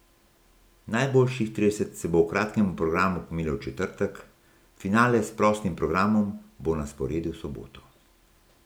Najboljših trideset se bo v kratkem programu pomerilo v četrtek, finale s prostim programom bo na sporedu v soboto.